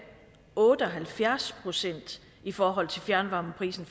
otte og halvfjerds procent i forhold til fjernvarmeprisen